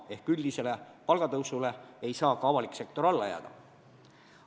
Ehk siis üldisele palgatõusule ei saa avalik sektor alla jääda.